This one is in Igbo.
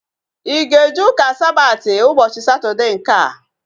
Ị ga-eje ụka Sabati ụbọchị Satọdee nkea?